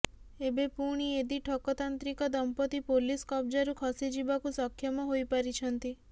ଏବେ ପୁଣି ଏଦି ଠକ ତାନ୍ତ୍ରିକ ଦମ୍ପତ୍ତି ପୋଲିସ କବ୍ଜାରୁ ଖସିଯିବାକୁ ସକ୍ଷମ ହୋଇ ପାରିଛନ୍ତି